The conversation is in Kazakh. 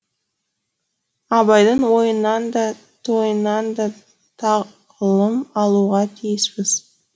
абайдың ойынан да тойынан да тағылым алуға тиіспіз